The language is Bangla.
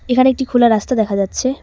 এখানে একটি খোলা রাস্তা দেখা যাচ্ছে।